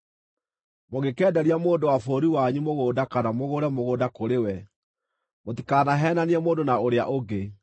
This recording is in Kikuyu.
“ ‘Mũngĩkenderia mũndũ wa bũrũri wanyu mũgũnda kana mũgũre mũgũnda kũrĩ we, mũtikanaheenanie mũndũ na ũrĩa ũngĩ.